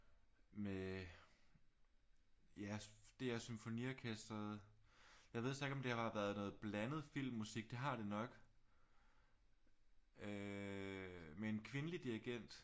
Med ja DR symfoniorkestret jeg ved så ikke om det har været noget blandet filmmusik det har det nok øh med en kvindelig dirgent